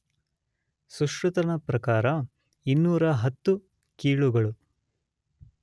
ಸುಶ್ರುತನ ಪ್ರಕಾರ 210 ಕೀಲುಗಳು.